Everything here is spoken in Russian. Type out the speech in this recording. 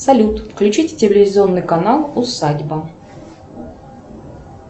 салют включить телевизионный канал усадьба